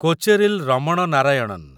Kocheril Raman Narayanan